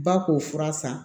Ba k'o fura san